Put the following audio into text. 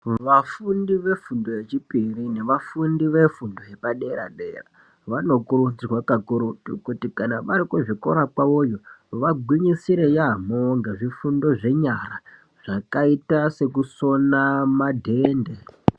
Vafundi vefundo yechipiri ngevafundi vefundo yepadera-dera vanokurudzirwa kakurutu kuti kana vari kuzvikora kwavoyo vagwinyisire yaamho ngezvifundo zvenyara zvakaita sekusona madhende.